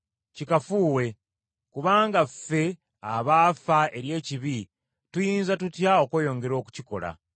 Kikafuuwe, kubanga ffe abaafa eri ekibi tuyinza tutya okweyongera okukikola?